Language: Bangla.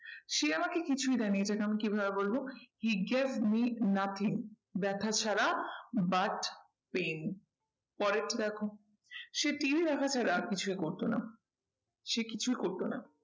সে আমাকে কিছুই দেয়নি এটাকে আমি কি ভাবে বলবো? he gave me nothing ব্যাথা ছাড়া but pain পরেরটা দেখো সে TV দেখা ছাড়া আর কিছুই করতো না। সে কিছুই করতো না। সে কিছুই করতো না